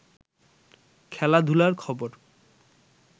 খেলাধুলার খবর